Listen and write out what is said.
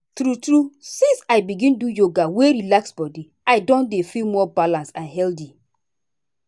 true true since i begin do yoga wey dey relax body i don dey feel more balanced and healthy.